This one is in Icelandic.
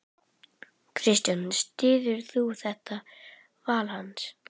Kristján: Styður þú þetta val hans?